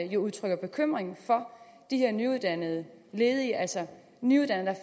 jo udtrykker bekymring for de her nyuddannede ledige altså nyuddannede